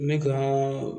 N bɛ ka